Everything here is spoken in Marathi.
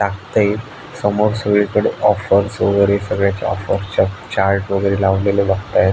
टाकतय समोर सगळी कडे ऑफर्स वगैरे चाट वगैरे लावलेले बगतायत.